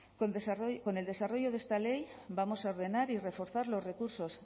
con el desarrollo de esta ley vamos a ordenar y reforzar los recursos